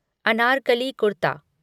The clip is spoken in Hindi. अनारकली कुर्ता